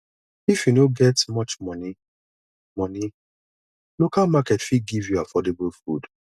if you no get much money money local market fit give you affordable food